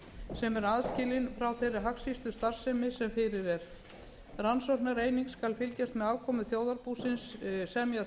sem er aðskilin frá þeirri hagskýrslustarfsemi sem fyrir er rannsóknareiningin skal fylgjast með afkomu þjóðarbúsins semja